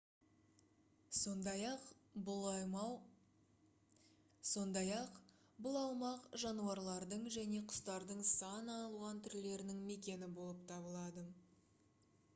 сондай-ақ бұл аумақ жануарлардың және құстардың сан алуан түрлерінің мекені болып табылады